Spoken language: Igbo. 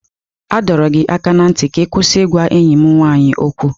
A dọrọ gị aka ná ntị ka ị kwụsị ịgwa enyi m nwaanyị okwu!